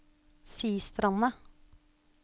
Sistranda